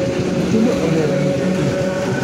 Nyithindo ohero ng'iyokich.